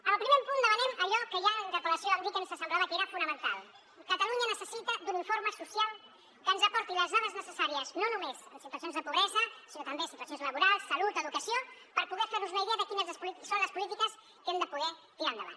al primer punt demanem allò que ja en la interpel·lació vam dir que ens semblava que era fonamental catalunya necessita un informe social que ens aporti les dades necessàries no només en situacions de pobresa sinó també situacions laborals salut educació per poder fer nos una idea de quines són les polítiques que hem de poder tirar endavant